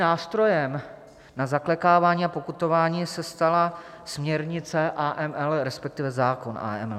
Nástrojem na zaklekávání a pokutování se stala směrnice AML, respektive zákon AML.